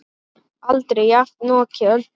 Aldrei jafnoki Öldu.